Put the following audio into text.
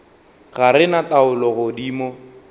ga re na taolo godimo